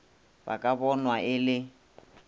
ba ka bonwa e le